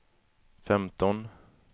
femton